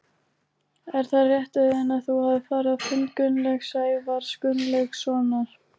Er það rétt Auðun að þú hafir farið á fund Gunnlaugs Sævars Gunnlaugssonar?